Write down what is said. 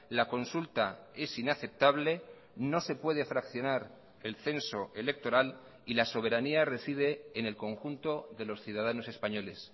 la consulta es inaceptable no se puede fraccionar el censo electoral y la soberanía reside en el conjunto de los ciudadanos españoles